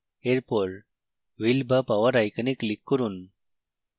এরপর wheel বা power icon click করুন